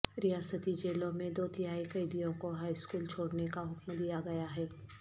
ریاستی جیلوں میں دو تہائی قیدیوں کو ہائی سکول چھوڑنے کا حکم دیا گیا ہے